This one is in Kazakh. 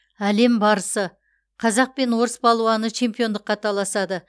әлем барысы қазақ пен орыс палуаны чемпиондыққа таласады